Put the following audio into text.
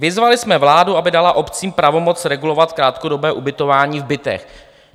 - Vyzvali jsme vládu, aby dala obcím pravomoc regulovat krátkodobé ubytování v bytech.